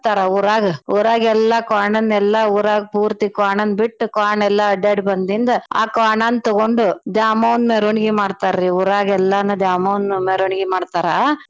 ಊರಾಗ ಊರಗೆಲ್ಲಾ ಕ್ವಾಣನ್ ಎಲ್ಲಾ ಊರಾಗ್ ಪೂರ್ತಿ ಕ್ವಾಣನ್ಬಿಟ್ಟ್ ಕ್ವಾಣೆಲ್ಲಾ ಅಡ್ಡ್ಯಾಡ್ ಬಂದಿಂದ ಆ ಕ್ವಾಣನ್ ತಗೊಂಡ ದ್ಯಾಮವ್ವನ್ ಮೇರ್ವಣಿಗೀ ಮಾಡ್ತಾರೀ ಊರಾಗೆಲ್ಲಾನೂ ದ್ಯಾಮವ್ವನ್ ಮೇರ್ವಣಿಗೀ ಮಾಡ್ತಾರಾ.